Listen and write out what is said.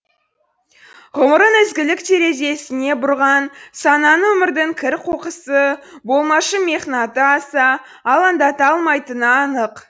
ғұмырын ізгілік терезесіне бұрған сананы өмірдің кір қоқысы болмашы мехнаты аса алаңдата алмайтыны анық